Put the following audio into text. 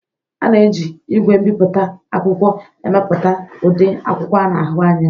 A na-eji igwe mbiputa akwụkwọ emepụta ụdị akwụkwọ a na ahu anya.